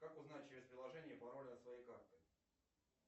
как узнать через приложение пароль от своей карты